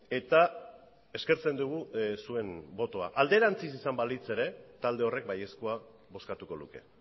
eta eskertzen dugu zuen botoa alderantziz izango balitz ere talde horrek baiezkoa bozkatuko luke